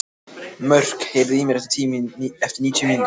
Mörk, heyrðu í mér eftir níutíu mínútur.